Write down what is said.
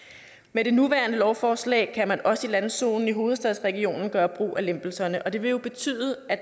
med det nuværende lovforslag kan man også i landzonen i hovedstadsregionen gøre brug af lempelserne og det vil jo betyde at